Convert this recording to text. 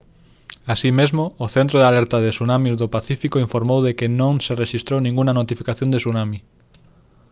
así mesmo o centro de alerta de tsunamis do pacífico informou de que non se rexistrou ningunha notificación de tsunami